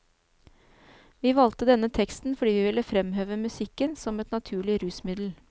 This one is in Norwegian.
Vi valgte denne teksten fordi vi ville fremheve musikken som et naturlig rusmiddel.